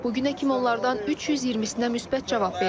Bu günə kimi onlardan 320-nə müsbət cavab verilib.